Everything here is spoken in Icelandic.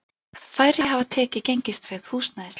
Færri hafi tekið gengistryggð húsnæðislán